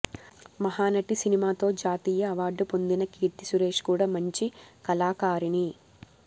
మహానాటి సినిమాతో జాతీయ అవార్డు పొందిన కీర్తి సురేశ్ కూడా మంచి కళాకారిణి